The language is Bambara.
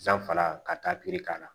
Sanfara ka taa pikiri k'a la